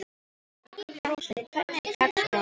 Róslind, hvernig er dagskráin?